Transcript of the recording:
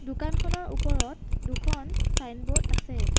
দোকানখনৰ ওপৰত দুখন ছাইনবোৰ্ড আছে।